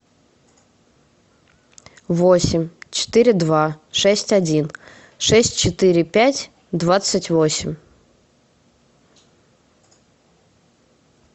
восемь четыре два шесть один шесть четыре пять двадцать восемь